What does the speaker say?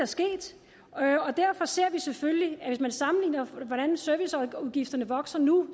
sket og derfor ser vi selvfølgelig at hvis man sammenligner hvordan serviceudgifterne vokser nu